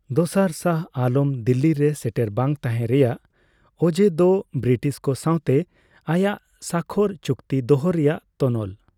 ᱫᱚᱥᱟᱨ ᱥᱟᱦᱚ ᱟᱞᱚᱢ ᱫᱤᱞᱞᱤ ᱨᱮ ᱥᱮᱴᱮᱨ ᱵᱟᱝ ᱛᱟᱸᱦᱮ ᱨᱮᱭᱟᱜ ᱚᱡᱮ ᱫᱚ ᱵᱤᱨᱤᱴᱤᱥ ᱠᱚ ᱥᱟᱸᱣᱛᱮ ᱟᱭᱟᱜ ᱥᱟᱠᱷᱠᱚᱨ ᱪᱩᱠᱛᱤ ᱫᱚᱦᱚ ᱨᱮᱭᱟᱜ ᱛᱚᱱᱚᱞ ᱾